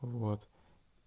вот